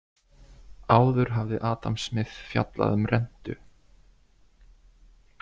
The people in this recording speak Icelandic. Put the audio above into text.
Áður hafði Adam Smith fjallað um rentu.